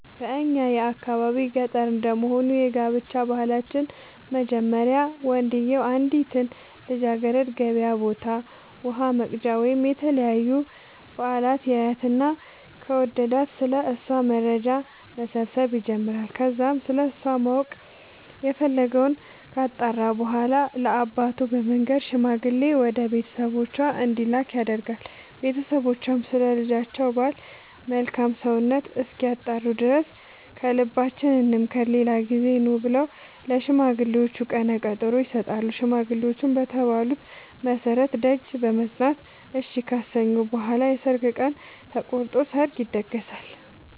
በእኛ የአካባቢ ገጠር እንደመሆኑ የጋብቻ ባህላችን መጀመሪያ ወንድዬው አንዲትን ልጃገረድ ገበያ ቦታ ውሃ ወቅጃ ወይም ለተለያዩ በአላት ያያትና ከወደዳት ስለ እሷ መረጃ መሰብሰብ ይጀምራይ ከዛም ስለሷ ማወቅ የፈለገወን ካጣራ በኋላ ለአባቱ በመንገር ሽማግሌ ወደ ቤተሰቦቿ እንዲላክ ያደርጋል ቦተሰቦቿም ስለ ልጃቸው ባል መልካም ሰውነት እስኪያጣሩ ድረስ ከልባችን እንምከር ሌላ ጊዜ ኑ ብለው ለሽማግሌዎቹ ቀነቀጠሮ ይሰጣሉ ሽማግሌዎቹም በተባሉት መሠረት ደጅ በመፅና እሺ ካሰኙ በኋላ የሰርግ ቀን ተቆርጦ ሰርግ ይደገሳል።